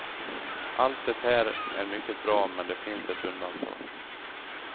Allt det här är mycket bra men det finns ett undantag.